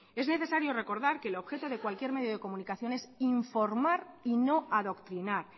es necesario recordar que el objeto de cualquier medio de comunicación es informar y no adoctrinar